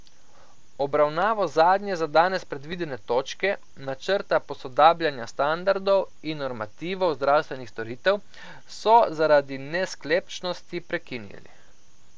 Obravnavo zadnje za danes predvidene točke, načrta posodabljanja standardov in normativov zdravstvenih storitev, so zaradi nesklepčnosti prekinili.